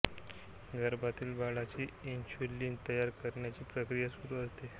गर्भातील बाळाची इन्सुलिन तयार करण्याची प्रक्रिया सुरू होते